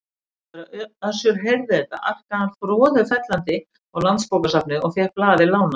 Þegar Össur heyrði þetta arkaði hann froðufellandi á Landsbókasafnið og fékk blaðið lánað.